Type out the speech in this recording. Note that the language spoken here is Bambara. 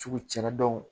Cugu cɛna dɔn